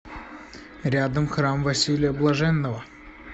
рядом храм василия блаженного